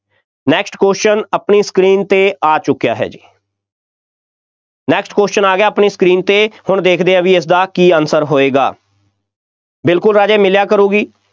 next question ਆਪਣੀ screen 'ਤੇ ਆ ਚੁੱਕਿਆ ਹੈ ਜੀ next question ਆ ਗਿਆ ਆਪਣੀ screen 'ਤੇ, ਹੁਣ ਦੇਖਦੇ ਹਾਂ ਬਈ ਇਸਦਾ ਕੀ answer ਹੋਏਗਾ, ਬਿਲਕੁੱਲ ਰਾਜੇ ਮਿਲਿਆ ਕਰੂਗੀ,